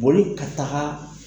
Boli ka taaga.